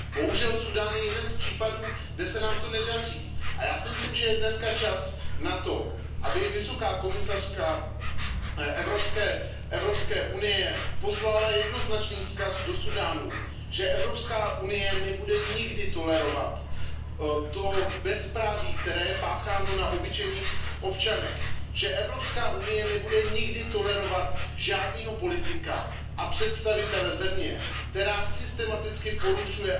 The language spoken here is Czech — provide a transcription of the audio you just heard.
Bohužel, Súdán je jeden z případů, kde se nám to nedaří, a já si myslím, že je dneska čas na to, aby vysoká představitelka Evropské unie poslala jednoznačný vzkaz do Súdánu, že Evropská unie nebude nikdy tolerovat to bezpráví, které je pácháno na obyčejných občanech, že Evropská unie nebude nikdy tolerovat žádného politika a představitele země, která systematicky porušuje